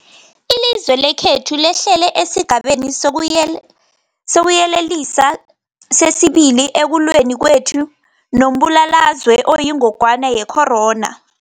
Ilizwe lekhethu lehlele esiGabeni sokuYelelisa sesi-2 ekulweni kwethu nombulalazwe oyingogwana ye-corona.